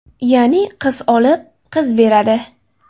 Ya’ni, qiz olib, qiz beradi.